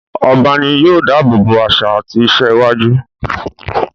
Ọba ní yóò dábòbò àṣà àti ìṣe àwùjọ.